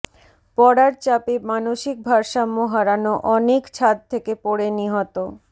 পড়ার চাপে মানসিক ভারসাম্য হারানো অনীক ছাদ থেকে পড়ে নিহত